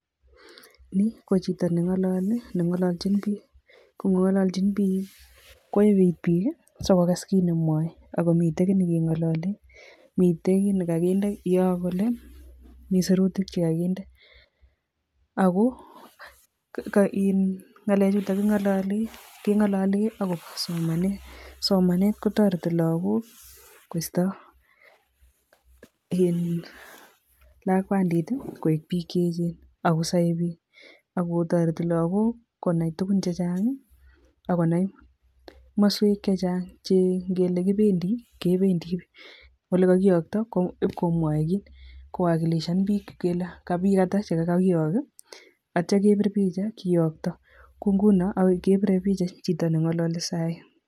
Nii ko chito nengololi nengololjin bik ko ngongololjin bik ko yebe it bik sikokas kit nemwoe akomiten kit nekengololen miten kit nekokinde yon kole Mii serutik chekokinde ako Kam iih ngalek chuton kingololi kengololi akobo somanet, somanet kotoreti loko koisto iih lakwandii tii koik bik cheyechen akosoe bik akotoreti lokok konai tukun chechangi akinai komoswek chechang che ingele kipendii kependii olekokiyokto komwoe kit kowakiloshan bik kele ko bik atak chekokakiyok kii ak ityo kepir picha kiyokto ko ngunon kepire picha chito nengolole sai